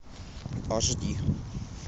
аш ди